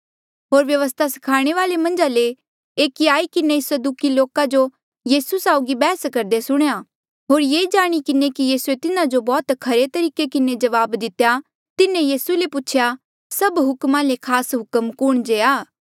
होर व्यवस्था स्खाणे वाल्ऐ आ मन्झा ले एकिये आई किन्हें सदूकी लोका जो यीसू साउगी बैहस करदे सुणेया होर ये जाणी किन्हें कि यीसूए तिन्हा जो बौह्त खरे तरीके किन्हें जवाब दितेया तिन्हें यीसू ले पूछेया सभ हुक्मा ले खास हुक्म कुण जे आ